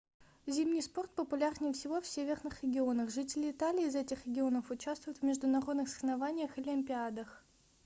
зимний спорт популярнее всего в северных регионах жители италии из этих регионов участвуют в международных соревнованиях и олимпиадах